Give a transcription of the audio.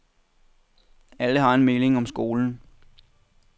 Alle har en mening om skolen.